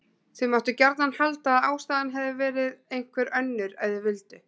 Þau máttu gjarnan halda að ástæðan hefði verið einhver önnur ef þau vildu.